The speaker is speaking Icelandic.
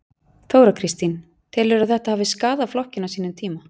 Þóra Kristín: Telurðu að þetta hafi skaðað flokkinn á sínum tíma?